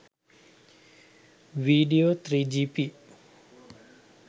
video 3gp